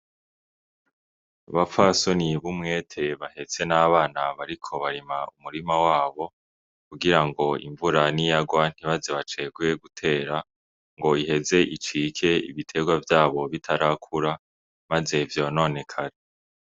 Abapfasoni b'umwete bahetse n' abana bariko barima umurima wabo kugira ngo imvura niyagwa ntibaze bacegwe gutera ngo iheze icike ibitegwa vyabo bitarakura maze vyononekare.